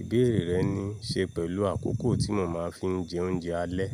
Ìbéèrè rẹ̀ ni, ṣe pẹ̀lú àkókò tí mo máa ń fi jẹ oúnjẹ alẹ́.